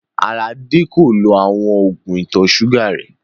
Aládé kò lọ̀ awọn oogun ìtọ̀ sugà rè